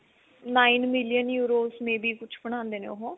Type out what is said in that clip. nine million euro may be ਕੁੱਝ ਬਣਾਉਂਦੇ ਨੇ ਉਹ